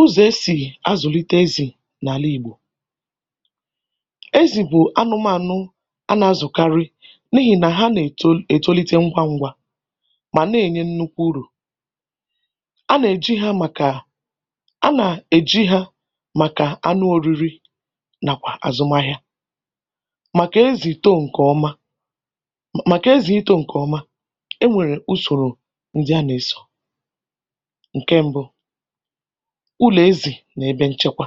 Ụ́zọ̀ e sì azụ̀lite ezì n’àla Ìgbò. Ezì bụ̀ anụmaanụ̀ a nà-azụ̀karị n’ihì nà ha nà-eto ètolite ngwa ngwa mà na-ènye nnukwu úrù. A nà-èji ha màkà a nà-èji há màkà anụ oriri nàkwà àzụmahịa, màkà ezì too ǹkè ọma màkà ezì íto ǹkè ọma, e nwèrè usòrò ndị a nà-ésọ̀.Nkè mbụ: Ụlọ̀ ezì nà ebe ǹchekwa.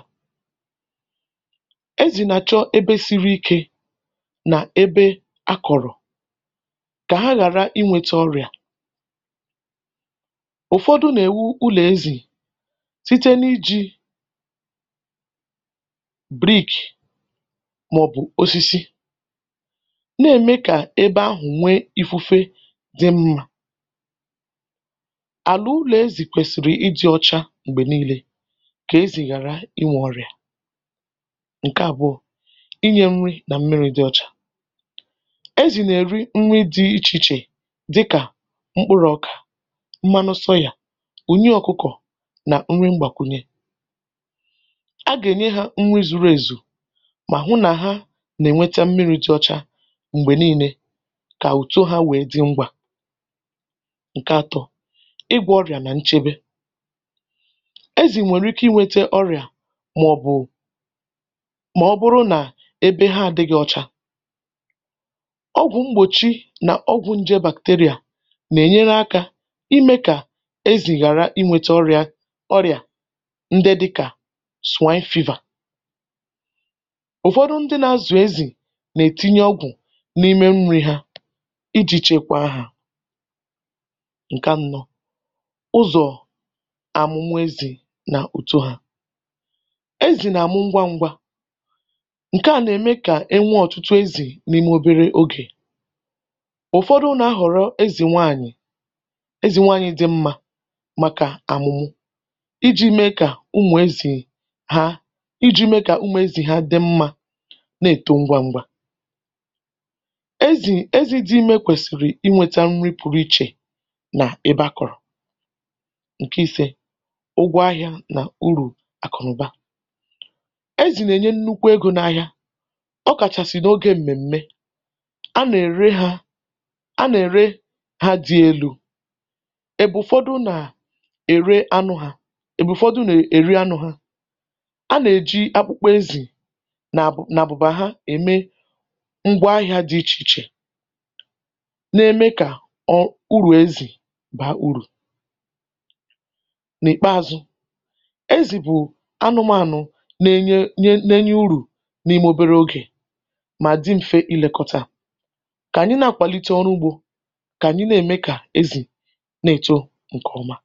Ezì nà-achọ́ ebe siri ikė nà ebe akọ̀rọ̀, kà ha ghàra ịnwėtȧ ọrịà. Ụfọdụ na-ewu ụlọ ezi site n'iji brick maọbu màọbụ osisi na-eme ka ebe ahụ na-enwe ífúfé dị mma. Ala ụlọ ezi kwesịrị ịdị ọcha m̀gbè niile, kà ezì ghàra inwė ọrịà. Ǹkè àbụọ, ínyė nri nà mmírí dị ọchá. Ezì nà-èri nri dị ichè ichè dịkà mkpụrụ́ ọkà, mmanụ soyà, ùnyì ọ́kụ́kọ̀ nà nri mgbàkwùnye. A gà-ènye hȧ nri zùrù èzù mà hụ nà ha nà-ènweta mmiri̇ dị ọcha m̀gbè niile kà ùtó ha wèé dị ngwà. Ǹke atọ, ị́gwọ́ ọrịà nà nchebe. Ezì nwèrè ike inwėte ọrịà màọ̀bụ̀, mà ọ́bụrụ́ nà ebe ha àdịgị̇ọcha, ọgwụ̀ mgbòchí nà ọgwụ̀ nje bacteria nà-ènyere akȧ imė kà ezì ghàra inwėte ọrịà ọrịà ndị dịkà swine fever. Ụfọdụ ndị nà-azụ̀ ezì nà-ètinye ọgwụ̀ n’ime nri ha iji chekwaa hȧ. Nkẹ annọ, ụ́zọ̀ amụ́mụ́ ezi nà ùto hȧ. Ezì nà-àmụ ngwa ngwa, ǹke à nà-ème kà e nwee ọ̀tụtụ ezì n’ime obere ogè. Ụfọdụ nà-ahọ̀rọ ezì nwaànyị̀ ezì nwaanyị̇ dị mmȧ màkà àmụ̀mụ iji̇ mee kà umù ezì ha iji̇ mee kà umù ezì ha dị mmȧ na-èto ngwa ngwa. Ezì ezì dị imė kwèsìrì ịnwėta nri pụrụ ichè na ebe ȧ kọ̀rọ̀. Nke ise, ụ́gwọ ahịȧ nà urù àkụ̀nụ̀ba. Ezi nà-ènye nnukwu egȯ n’ahịa, ọ kàchàsị̀ n’ogė m̀mèm̀me, a nà-ère ha a nà-ère ha dị̇ elu̇ èbù ụ̀fọdụ nà-ère anụ ha èbù ụ̀fọdụ nà-èri anụ́ ha. A nà-èji akpụkpa ezì nà àbụ̀ nà àbụ̀bà ha ème ngwa ahịȧ dị ichè ichè nà-eme kà ọ̀ ụrù ezì bàa urù. N'ikpeazụ, ezi bụ anụmanụ na-enye urù n’ime obere ogè mà dị m̀fe ilekọtȧ. Kàànyị na-akwàlite ọrụ ugbȯ, kàànyị na-eme kà ezì nà-èto ǹkè ọma.